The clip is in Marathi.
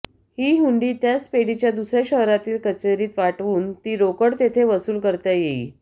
ही हुंडी त्याच पेढीच्या दुसऱ्या शहरातील कचेरीत वाटवून ती रोकड तिथे वसूल करता येई